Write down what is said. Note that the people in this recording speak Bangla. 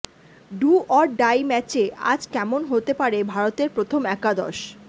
ডু অর ডাই ম্যাচে আজ কেমন হতে পারে ভারতের প্রথম একাদশ